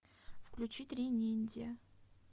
включи три ниндзя